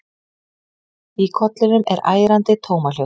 Í kollinum er ærandi tómahljóð.